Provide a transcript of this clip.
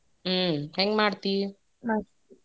ಹ್ಮ್ ಹೆಂಗ್ ಮಾಡ್ತೀ?